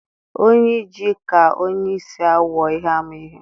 Onye ije ka onye isi awọ ihe ama ihe